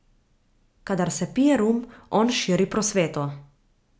Kadar se pije rum, on širi prosveto.